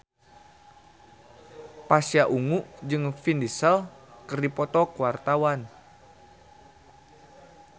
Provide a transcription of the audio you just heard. Pasha Ungu jeung Vin Diesel keur dipoto ku wartawan